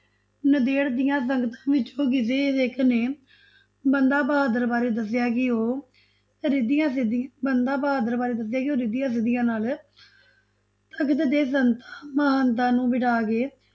ਨੰਦੇੜ ਦੀਆਂ ਸੰਗਤਾ ਵਿੱਚੋਂ ਕਿਸੇ ਸਿੱਖ ਨੇ ਬੰਦਾ ਬਹਾਦਰ ਬਾਰੇ ਦੱਸਿਆ ਕਿ ਉਹ ਰਿਧੀਆਂ ਬੰਦਾ ਬਹਾਦਰ ਬਾਰੇ ਦੱਸਿਆ ਸਿਧੀਆਂ ਕਿ ਉਹ ਰਿਧੀਆਂ ਸਿਧੀਆਂ ਨਾਲ ਤਖਤ ਤੇ ਸੰਤਾ ਮਹੰਤਾਂ ਨੂੰ ਬਿਠਾਕੇ